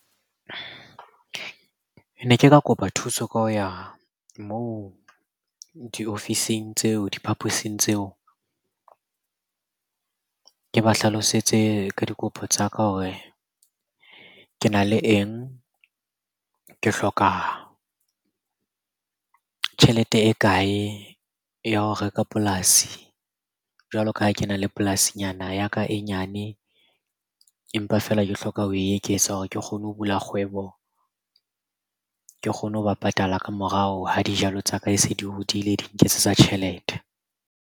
Ne ke ka kopa thuso ka ho ya moo diofising tseo diphaposing tseo. Ke ba hlalosetse ka dikopo tsa ka hore ke na le eng? Ke hloka tjhelete e kae ya ho reka polasi jwalo ka ha ke na le polasi nyana ya ka e nyane? Empa feela ke hloka ho e eketsa hore ke kgone ho bula kgwebo. Ke kgone ho ba patala ka morao ha dijalo tsa ka e se di hodile di nketsetsa tjhelete.